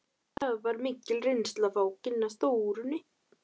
Það var mikil reynsla að fá að kynnast Þórunni.